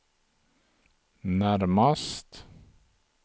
närmast